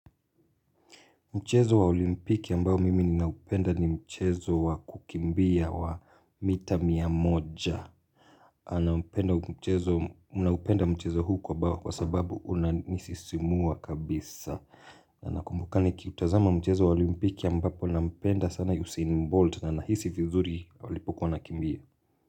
Mchezo wa olimpiki ambao mimi ninaupenda ni mchezo wa kukimbia wa mita mia moja. Naupenda mchezo huu kwa bawa kwa sababu unanisisimua kabisa. Na nakumbuka nikiutazama mchezo wa olimpiki ambapo nampenda sana Yusene Mbold na nahisi vizuri walipokuwa nakimbia.